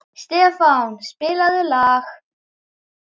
Stefán, spilaðu lag.